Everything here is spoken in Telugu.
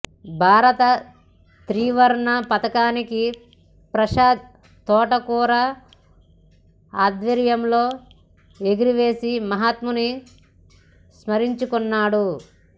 భారత త్రివర్ణ పతాకాన్ని ప్రసాద్ తోటకూర ఆధ్వర్యంలో ఎగురవేసి మహాత్ముని స్మరించుకున్నారు